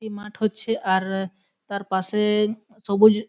এই মাঠ হচ্ছে আর তার পাশে সবুজ--